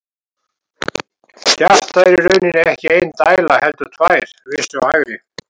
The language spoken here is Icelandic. Hjartað er í rauninni ekki ein dæla heldur tvær, vinstri og hægri.